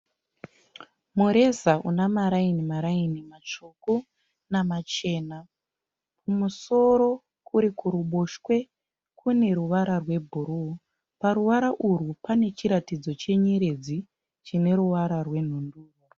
Mureza una maraini maraini matsvuku namachena. kumusoro kuri kuruboshwe Kune ruvara rwe bhuruu , paruvara urwu pane chiratidzo chenyeredzi chine ruvara rwe nhundurwa.